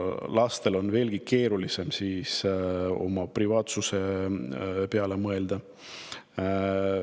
Lastel on veelgi keerulisem oma privaatsuse peale mõelda.